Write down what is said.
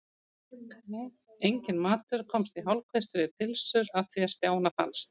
Enginn matur komst í hálfkvisti við pylsur að því er Stjána fannst.